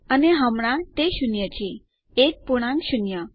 અને હમણાં તે શૂન્ય છે એક પૂર્ણાંક શૂન્ય